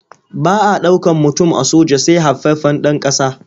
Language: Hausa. Ba ɗaukan mutum a soja sai haifaffen ɗan ƙasa.